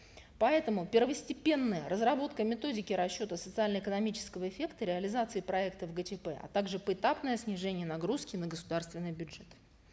поэтому первостепенное разработка методики расчета социально экономического эффекта реализации проектов гчп а также поэтапное снижение нагрузки на государственный бюджет